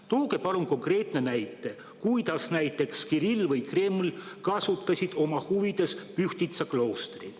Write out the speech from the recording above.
Tooge palun konkreetne näide, kuidas Kirill või Kreml on oma huvides ära kasutanud Pühtitsa kloostrit.